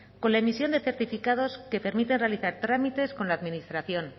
con la emisión de certificados que permiten realizar trámites con la administración